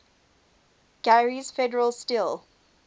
gary's federal steel